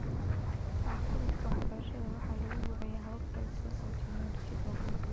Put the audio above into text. Wax ka qabadka waxbarashada waxaa lagu bixiyay habab kala duwan oo tignoolajiyadeed oo kala duwan.